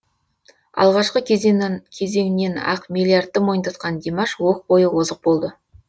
алғашқы кезеңнен ақ миллиардты мойындатқан димаш оқ бойы озық болды